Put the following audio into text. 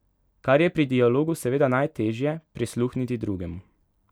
Kar je pri dialogu seveda najtežje, prisluhniti drugemu.